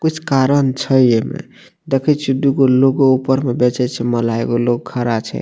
कुछ कारण छै एमे देखे छिये दू गो लोगो ऊपर में बेचे छै माला एगो लोग खड़ा छै।